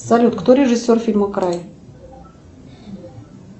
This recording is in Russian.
салют кто режисер фильма край